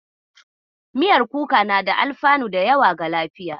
Miyar kuka na da alfanu da yawa ga lafiya.